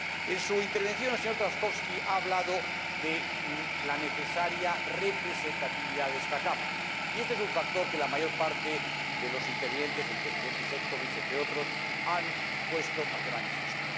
En su intervención, el señor Trzaskowski ha hablado de la necesaria representatividad de esta Cámara, y este es un factor que la mayor parte de los intervinientes, el Vicepresidente Šefčovič entre otros, han puesto de manifiesto.